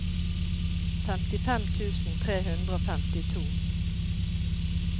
femtifem tusen tre hundre og femtito